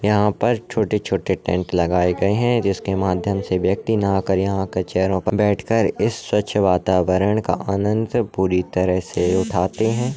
यहाँ पर छोटे-छोटे टेंट लगाए गए है जिसके माध्यम से व्यक्ति नहाकर यहाँ आकार चेयरो पर बैठ कर इस स्वच्छ वातावरण का आनंद पुरी तरह से उठाते है।